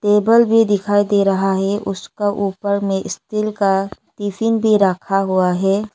Table भी दिखाई दे रहा है उसका ऊपर में इस्टील का टिफिन भी रखा हुआ है।